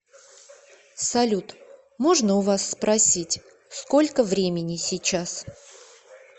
салют можно у вас спросить сколько времени сейчас